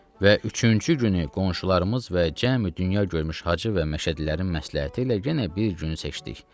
Və üçüncü günü qonşularımız və cəmi dünya görmüş hacı və məşədilərin məsləhəti ilə yenə bir gün seçdik.